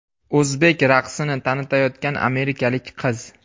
O‘zbek raqsini tanitayotgan amerikalik qiz.